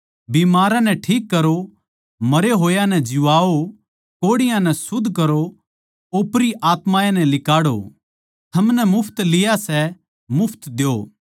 बिमारां नै ठीक करो मरै होए नै जीवाओ कोढ़ियाँ नै शुध्द करो ओपरी आत्मायाँ नै लिकाड़ो थमनै मुफ्त लिया सै मुफ्त द्यो